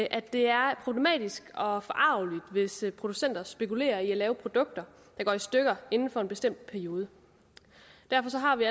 at det er problematisk og forargeligt hvis producenter spekulerer i at lave produkter der går i stykker inden for en bestemt periode derfor har vi